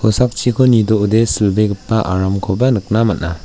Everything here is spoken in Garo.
nidoode silbegipa aramkoba nikna man·a.